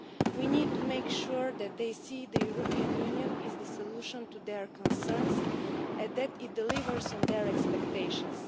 We need to make sure they see that the European Union is the solution to their concerns and that it delivers on their expectations.